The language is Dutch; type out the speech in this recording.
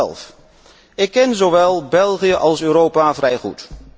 2011. Ik ken zowel België als Europa vrij goed.